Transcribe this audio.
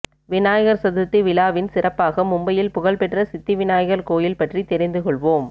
விநாயகர் சதுர்த்தி விழாவின் சிறப்பாக மும்பையில் புகழ்பெற்ற சித்தி விநாயகர் கோயில் பற்றி தெரிந்து கொள்வோம்